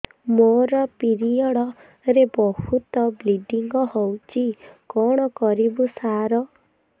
ମୋର ପିରିଅଡ଼ ରେ ବହୁତ ବ୍ଲିଡ଼ିଙ୍ଗ ହଉଚି କଣ କରିବୁ ସାର